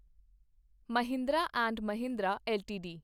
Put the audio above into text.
Mahindra and Mahindra LTD